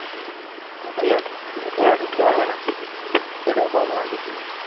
ওরা ঢুকতে পারবে না এটাই problem আর কিছুই না